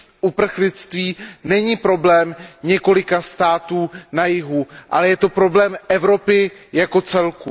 uprchlictví není problém několika států na jihu, ale je to problém Evropy jako celku.